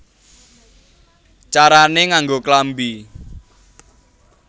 Carané Nganggo Klambi